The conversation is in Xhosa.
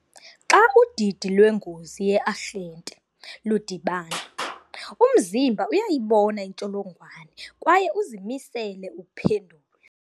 Xa udidi lwengozi ye-arhente ludibana, umzimba uyayibona intsholongwane kwaye uzimisele uphendula.